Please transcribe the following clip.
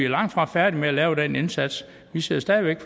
langtfra færdige med at lave den indsats vi sidder stadig væk